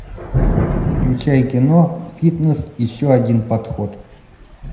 включай кино фитнес еще один подход